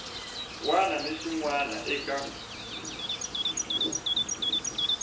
wana ni xin wana eka